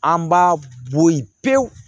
An b'a bɔ yen pewu